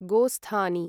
गोस्थानि